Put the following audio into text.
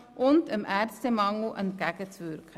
Zudem wirkt sie damit dem Ärztemangel entgegen.